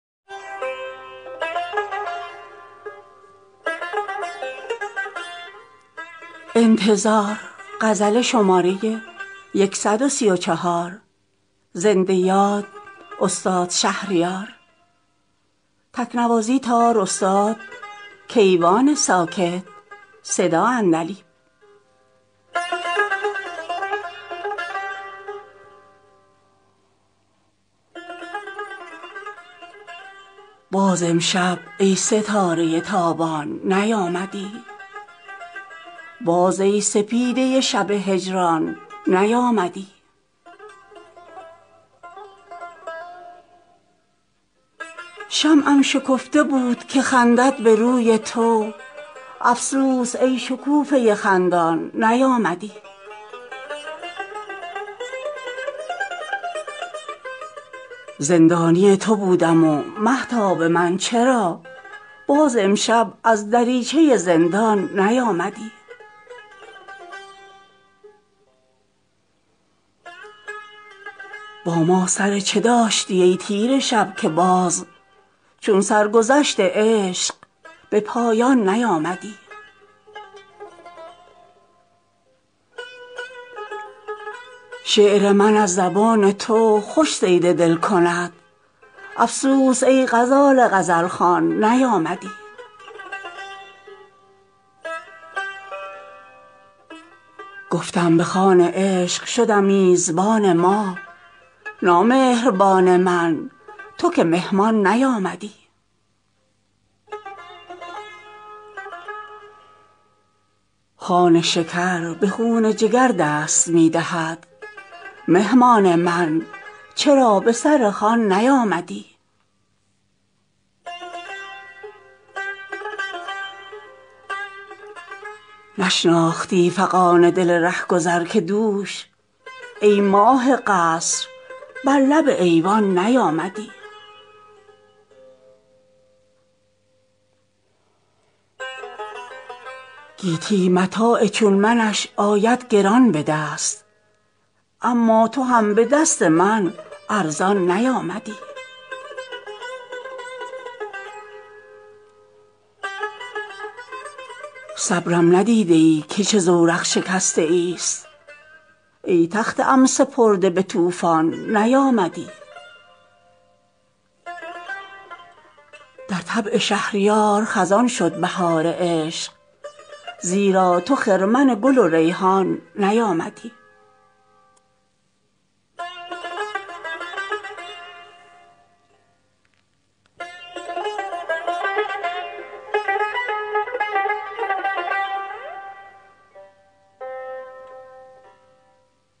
باز امشب ای ستاره تابان نیامدی باز ای سپیده شب هجران نیامدی شمعم شکفته بود که خندد به روی تو افسوس ای شکوفه خندان نیامدی زندانی تو بودم و مهتاب من چرا باز امشب از دریچه زندان نیامدی با ما سر چه داشتی ای تیره شب که باز چون سرگذشت عشق به پایان نیامدی مگذار قند من که به یغما برد مگس طوطی من که در شکرستان نیامدی شعر من از زبان تو خوش صید دل کند افسوس ای غزال غزل خوان نیامدی گفتم به خوان عشق شدم میزبان ماه نامهربان من تو که مهمان نیامدی خوان شکر به خون جگر دست می دهد مهمان من چرا به سر خوان نیامدی دیوان حافظی تو و دیوانه تو من اما پری به دیدن دیوان نیامدی نشناختی فغان دل رهگذر که دوش ای ماه قصر بر لب ایوان نیامدی گیتی متاع چون منش آید گران به دست اما تو هم به دست من ارزان نیامدی صبرم ندیده ای که چه زورق شکسته ایست ای تخته ام سپرده به طوفان نیامدی عیش دل شکسته عزا می کنی چرا عیدم تویی که من به تو قربان نیامدی در طبع شهریار خزان شد بهار عشق زیرا تو خرمن گل و ریحان نیامدی